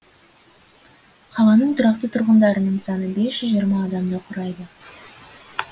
қаланың тұрақты тұрғындарының саны бес жүз жиырма адамды құрайды